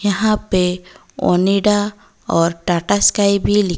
यहां पे ऑनिडा और टाटा स्काई भी लिख--